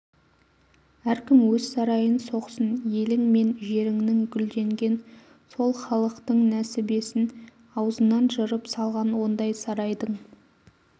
әркім өз сарайын соқсын елің мен жеріңнің гүлденген сол халықтың несібесін аузынан жырып салған ондай сарайдың